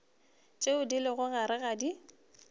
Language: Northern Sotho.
tše di lego gare ga